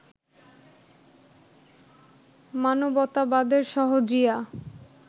মানবতাবাদের সহজিয়া